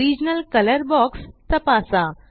original colour box तपासा